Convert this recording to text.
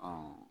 Ɔ